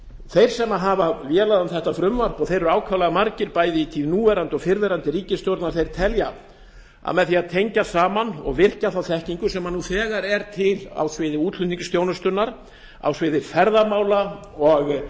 þeir sem hafa vélað um þetta frumvarp og þeir eru ákaflega margir bæði í tíð núverandi og fyrrverandi ríkisstjórna telja að með því að tengja saman og virkja þá þekkingu sem nú þegar er til á sviði útflutningsþjónustunnar á sviði ferðamála og